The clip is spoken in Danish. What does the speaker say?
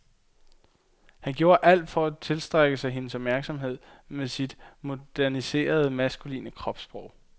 Han gjorde alt for at tiltrække sig hendes opmærksomhed med sit moderniserede maskuline kropssprog.